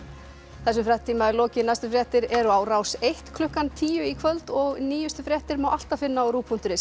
þessum fréttatíma er lokið næstu fréttir eru á Rás eins klukkan tíu í kvöld og nýjustu fréttir má alltaf finna á rúv punktur is